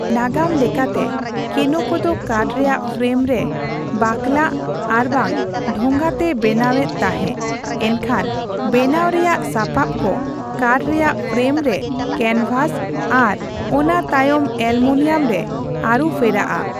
ᱱᱟᱜᱟᱢ ᱞᱮᱠᱟᱛᱮ, ᱠᱮᱱᱳᱠᱚ ᱫᱚ ᱠᱟᱴᱷ ᱨᱮᱭᱟᱜ ᱯᱷᱨᱮᱢ ᱨᱮ ᱵᱟᱠᱞᱟᱜ ᱟᱨᱵᱟᱝ ᱰᱷᱳᱜᱟᱛᱮ ᱵᱮᱱᱟᱣ ᱮᱫ ᱛᱟᱦᱮᱸ, ᱮᱱᱠᱷᱟᱱ ᱵᱮᱱᱟᱣ ᱨᱮᱭᱟᱜ ᱥᱟᱯᱟᱵᱠᱚ ᱠᱟᱴᱷ ᱨᱮᱭᱟᱜ ᱯᱷᱨᱮᱢᱨᱮ ᱠᱮᱱᱵᱷᱟᱥ, ᱟᱨ ᱚᱱᱟ ᱛᱟᱭᱚᱢ ᱮᱞᱩᱢᱤᱱᱤᱭᱟᱢ ᱨᱮ ᱟᱹᱨᱩᱯᱷᱮᱨᱟᱜᱼᱟ ᱾